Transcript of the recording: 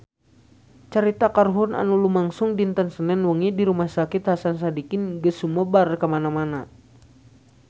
Carita kahuruan anu lumangsung dinten Senen wengi di Rumah Sakit Hasan Sadikin geus sumebar kamana-mana